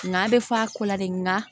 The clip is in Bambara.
Nka bɛ fɔ a ko la de nga